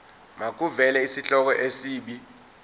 makuvele isihloko isib